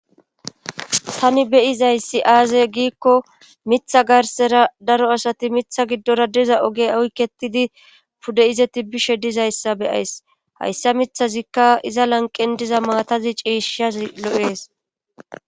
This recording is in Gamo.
Tani beyizayssi aaze giikko mitha garsera daro asati mitha giddora diza oge awketidi pudde"izeti bishe dizayssa beyays hayssa mithazikka iza lanqendiza maatazi ciishshazi lo7ees